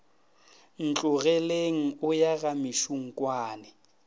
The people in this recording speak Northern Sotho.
ntlogeleng o ya ga mešunkwane